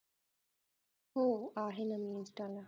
हो आहेना मी insta ला